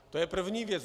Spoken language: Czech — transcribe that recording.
To je první věc.